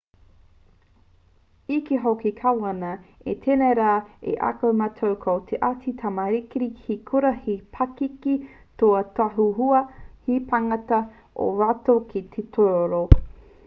i kī hoki te kāwana i tēnei rā i ako mātou ko ētahi tamariki he kura te pakeke kua tautohua he pānga ō rātou ki te tūroro